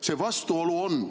See vastuolu on.